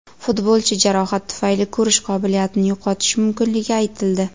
Futbolchi jarohat tufayli ko‘rish qobiliyatini yo‘qotishi mumkinligi aytildi .